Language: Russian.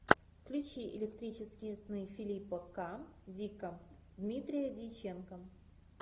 включи электрические сны филипа к дика дмитрия дьяченко